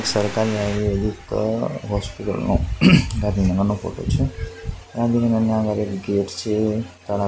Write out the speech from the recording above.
સરકારી આયુર્વેદિક હોસ્પિટલ નો ગાંધીનગરનો ફોટો છે ગાંધીનગરની આગળ એક ગેટ છે તળાવ--